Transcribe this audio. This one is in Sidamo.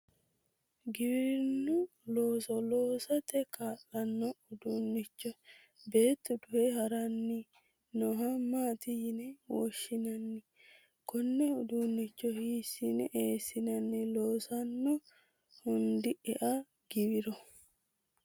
giwirinnu looso loosate kaa'lanno uduunnicho beettu duhe haranni nooha maati yine woshshinanni? konne uduunnicho hiissine eessinanni loosanno handi ea giwiro?